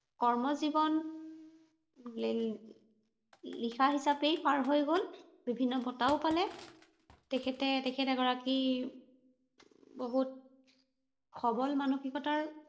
কৰ্মজীৱন লিখা হিচাপেই পাৰ হৈ গল, বিভিন্ন বঁটাও পালে। তেখেতে তেখেত এগৰাকী বহুত সৱল মানসিকতাৰ